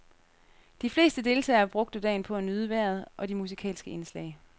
De fleste deltagere brugte dagen på at nyde vejret og de musikalske indslag.